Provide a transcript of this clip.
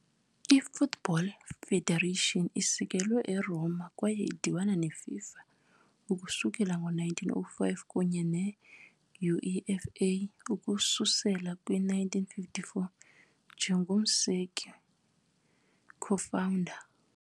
I-Football Federation isekelwe eRoma kwaye idibene neFIFA ukususela ngo-1905 kunye ne- UEFA ukususela kwi-1954, njengomseki-co-founder.